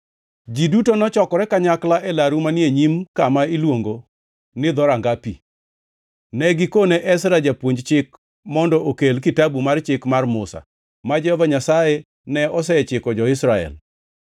ji duto nochokore kanyakla e laru manie e nyim kama iluongo ni Dhoranga Pi. Ne gikone Ezra, japuonj chik mondo okel Kitabu mar Chik mar Musa, ma Jehova Nyasaye ne osechiko jo-Israel.